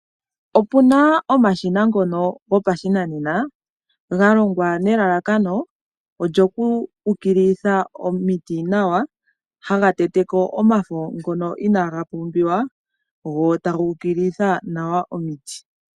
Opuna omashina ngono gopashinanena galongwa nelalakano olyo okuukililitha omiti nawa, haga tete ko omafo ngoka inaa ga pumbiwa, go taga ukililitha nawa omiti.